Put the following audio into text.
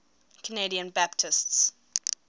canadian baptists